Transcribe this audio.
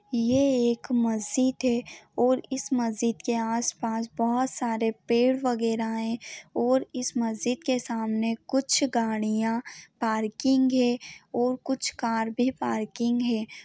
यह एक मसिज्द है और इस मसिज्द के आस -पास बहुत बहुत सारे पेड़ वगेरा है और इस मस्जिद के सामने कुछ गाड़ियां पार्किंग है और कुछ कार भी पार्किग है।